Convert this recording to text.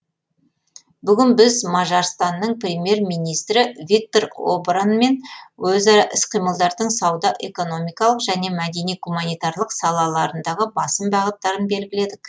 бүгін біз мажарстанның премьер министрі виктор обранмен өзара іс қимылдардың сауда экономикалық және мәдени гуманитарлық салаларындағы басым бағыттарын белгіледік